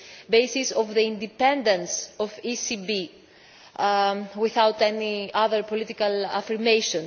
basis of the independence of the ECB, without any other political affirmation.